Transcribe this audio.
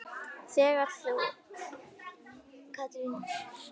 Þú, þegar augu opnast.